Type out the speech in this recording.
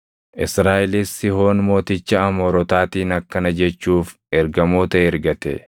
Israaʼelis Sihoon mooticha Amoorotaatiin akkana jechuuf ergamoota ergate: